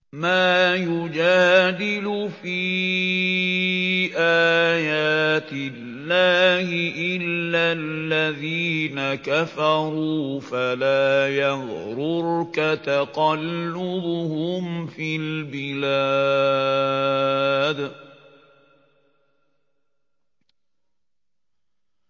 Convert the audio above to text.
مَا يُجَادِلُ فِي آيَاتِ اللَّهِ إِلَّا الَّذِينَ كَفَرُوا فَلَا يَغْرُرْكَ تَقَلُّبُهُمْ فِي الْبِلَادِ